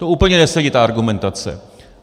To úplně nesedí, ta argumentace.